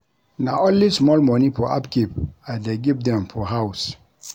Na only small moni for upkeep I dey give dem for house.